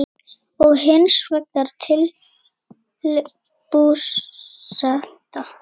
og hins vegar til Búseta.